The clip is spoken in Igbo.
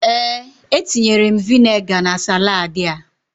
Ee, etinyere m vinegar na saladị a.